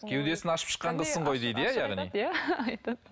кеудесін ашып шыққан қызсың ғой дейді иә яғни айтады